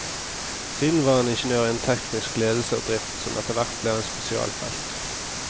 Siden var han ingeniør innen teknisk ledelse og drift, som etterhvert ble hans spesialfelt.